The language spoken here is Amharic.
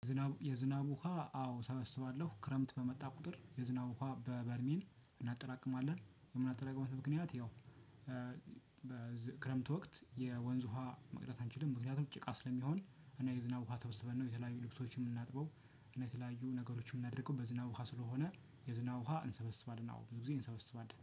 የዝናብ የዝናብ ውሃ አዎ እሰበስባለሁ። ክረምት በመጣ ቁጥር የዝናብ ውሃ በበርሚል እናጠራቅማለን። የምናጠራቅምበት ምክንያት ያው ወቅት የወንዝ ውሃ መቅደስ አንችልም። ምክንያቱም ጭቃ ስለሚሆን እና የዝናብ ውሃ ሰብስበን ነው የተለያዩ ልብሶችን የምናጥበው እና የተለያዩ ነገሮችን የምናደርገው በዝናብ ውሃ ስለሆነ የዝናብ ውሃ እንሰበስባለን። አዎ ብዙ ጊዜ እንሰበስባለን።